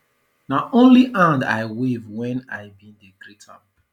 na only hand i wave wen i ben dey greet am